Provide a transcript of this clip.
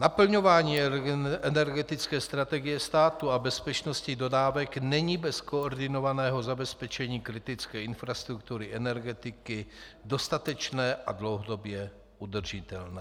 Naplňování energetické strategie státu a bezpečnosti dodávek není bez koordinovaného zabezpečení kritické infrastruktury energetiky dostatečné a dlouhodobě udržitelné.